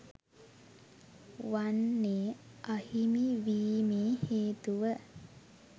වන්නේ අහිමි වීමේ හේතුව